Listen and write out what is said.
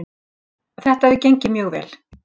Þetta hefur gengið mjög vel